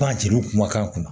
Pan jeliw kumakan kunna